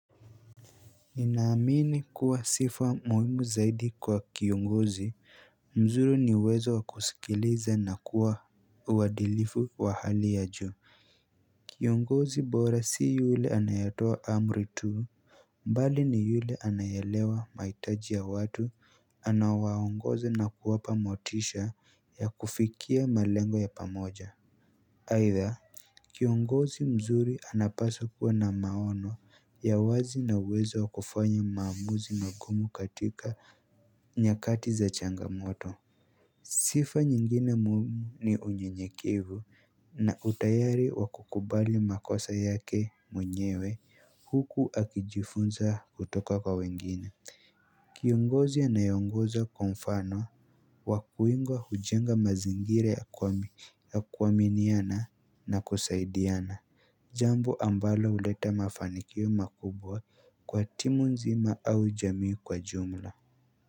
Ninaamini kuwa sifa muhiimu zaidi kwa kiongozi, mzuru ni uwezo wakuskiliza na kuwa uadilifu wa hali ya juu Kiongozi bora si yule anayatoa amri tu mbali ni yule anayaelewa mahitaji ya watu anaowaongoza na kuwapa motisha ya kufikia malengo ya pamoja Haitha kiongozi mzuri anapaswa kuwa na maono ya wazi na uwezo wa kufanya maamuzi ma gumu katika nyakati za changamoto Sifa nyingine mumu ni unye nyekivu na utayari wakukubali makosa yake mwenyewe huku akijifunza kutoka kwa wengine Kiongozi anayeongoza kwa mfano wa kuingwa hujenga mazingira ya kuaminiana na kusaidiana Jambo ambalo huleta mafanikio makubwa kwa timu nzima au jamii kwa jumla.